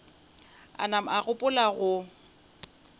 a napa a gopola go